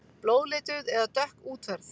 Blóðlituð eða dökk útferð.